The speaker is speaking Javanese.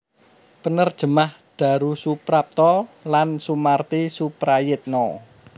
Penerjemah Darusuprapta lan Sumarti Suprayitna